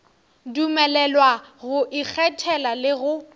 dumelelwa go ikgethela le go